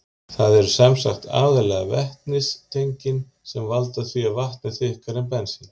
Það eru sem sagt aðallega vetnistengin sem valda því að vatn er þykkara en bensín.